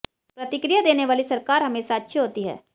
प्रतिक्रिया देने वाली सरकार हमेशा अच्छी होती है